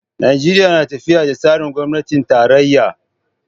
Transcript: Najeriya na tafiyar da tsarin gwamnatin tarayya.